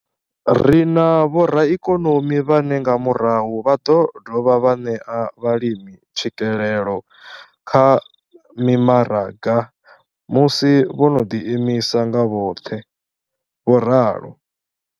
Ri na vhoraikonomi vhane nga murahu vha ḓo dovha vha ṋea vhalimi tswikelelo kha mimaraga musi vho no ḓiimisa nga vhoṱhe. vho ralo.